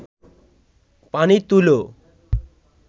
পানি তুলো